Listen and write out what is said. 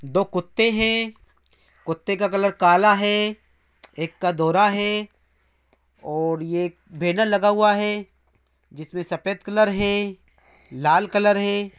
दो कुत्ते हैं। कुत्ते का कलर काला है एक का धोरा है और ये बैनर लगा हुआ है जिसमे सफ़ेद कलर है लाल कलर है।